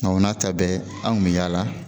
o n'a ta bɛɛ anw kun mi yaala